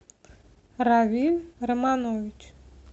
равиль романович